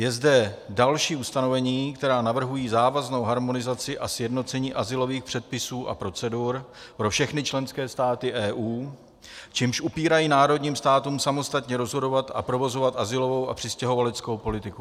Je zde další ustanovení, které navrhuje závaznou harmonizaci a sjednocení azylových předpisů a procedur pro všechny členské státy EU, čímž upírají národním státům samostatně rozhodovat a provozovat azylovou a přistěhovaleckou politiku.